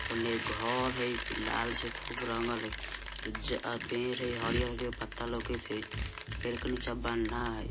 उने घर हई लाल से खूब रंगल हई उजर पेड़ हई हरियर-हरियर पत्ता लोकत हई पेड़ के नीचा बंधा हई।